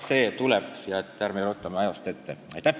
See tuleb, ärme ruttame ajast ette!